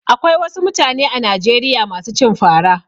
Akwai wasu mutane a Najeriya masu cin fara.